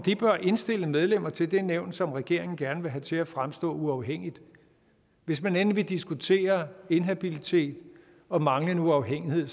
indstille medlemmer til det nævn som regeringen gerne vil have til at fremstå uafhængigt hvis man endelig vil diskutere inhabilitet og manglende uafhængighed